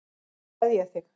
Nú kveð ég þig.